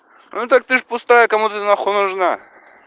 ну так ты же пустая кому ты нахуй нужна